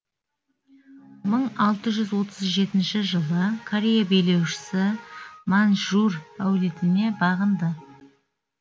мың алты жүз отыз жетінші жылы корея билеушісі маньчжур әулетіне бағынды